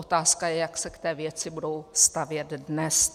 Otázka je, jak se k té věci budou stavět dnes.